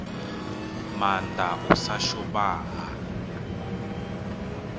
maanda u sa shuma ha